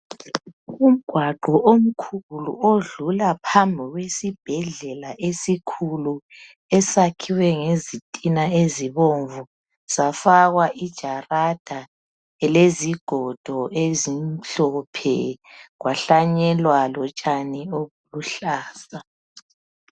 Umgwaqo omkhulu odlula phambi kwesibhedlela esikhulu esakhiwe ngezitina ezibomvu safakwa ijarada lezigodo ezimhlophe kwahlanyelwa lotshani obuluhlaza